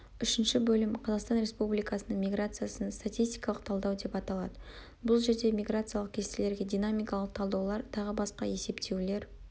үшінші бөлім қазақстан республикасының миграциясын статистикалық талдау деп аталады бұл жерде миграциялық кестелерге динамикалық талдаулар тағы басқа есептеулер